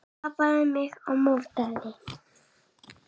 Hún skapaði mig og mótaði.